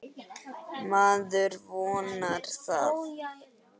Maður vonar það.